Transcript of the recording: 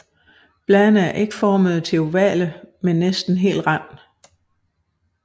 Bladene er ægformede til ovale med næsten hel rand